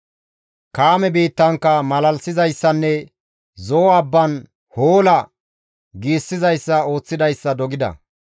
Kaame biittankka malalisizayssanne Zo7o abban, «Hoola!» giissizayssa ooththidayssa dogida.